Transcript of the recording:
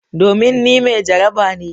Domin ni mai jaraba ne.